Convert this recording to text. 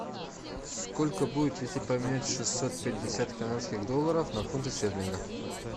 сколько будет если поменять шестьсот пятьдесят канадских долларов на фунты стерлинга